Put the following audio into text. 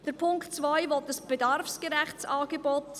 Der Punkt 2 verlangt ein bedarfsgerechtes Angebot.